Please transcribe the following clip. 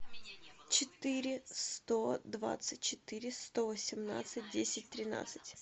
четыре сто двадцать четыре сто восемнадцать десять тринадцать